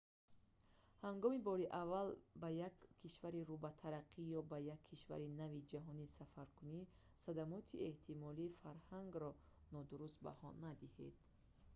ҳангоми бори аввал ба як кишвари рӯ ба тараққӣ ё ба як кишвари нави ҷаҳон сафаркунӣ садамоти эҳтимолии фарҳангро нодуруст баҳо надиҳед